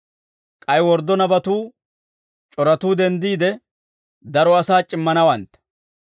K'ay worddo nabatuu c'oratuu denddiide, daro asaa c'immanawantta.